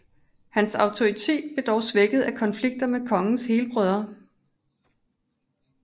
Hans autoritet blev dog svækket af konflikter med kongens helbrødre